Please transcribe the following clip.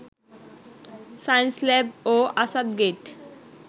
Science Lab ও আসাদগেইট